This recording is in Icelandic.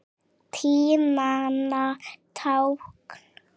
Tímanna tákn?